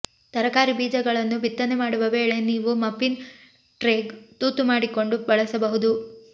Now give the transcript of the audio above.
ತರಕಾರಿ ಬೀಜಗಳನ್ನು ಬಿತ್ತನೆ ಮಾಡುವ ವೇಳೆ ನೀವು ಮಫಿನ್ ಟ್ರೇಗೆ ತೂತು ಮಾಡಿಕೊಂಡು ಬಳಸಬಹುದು